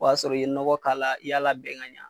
O y'a sɔrɔ i ye nɔgɔ k'a la, i y'a labɛn ka ɲɛ.